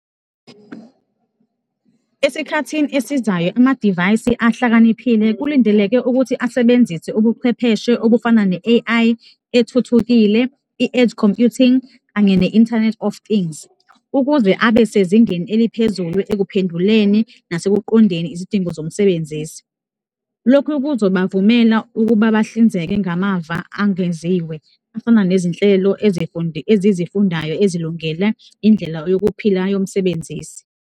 Esikhathini esizayo, amadivayisi ahlakaniphile kulindeleke ukuthi asebenzise ubuchwepheshe obufana ne-A_I ethuthukile, i-Edge computing kanye ne-Internet of things, ukuze abe sezingeni eliphezulu akuphenduleni nasekuqondeni izidingo zomsebenzisi. Lokhu kuzobavumela ukuba bahlinzeke ngamava angeziwe, afana nezinhlelo ezizifundayo ezilungele indlela yokuphila yomsebenzisi.